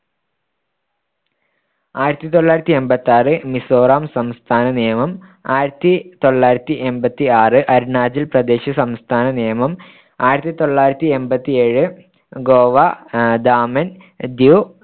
ആയിരത്തിതൊള്ളായിരത്തിയെമ്പത്താറ് മിസോറാം സംസ്ഥാന നിയമം ആയിരത്തിതൊള്ളായിരത്തിയെമ്പത്താറ് അരുണാചൽ പ്രദേശ് സംസ്ഥാന നിയമം ആയിരത്തിതൊള്ളായിരത്തിയെമ്പത്തി ഏഴ് ഗോവ ദാമി ദ്യൂ